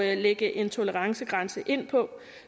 at lægge en tolerancegrænse ind på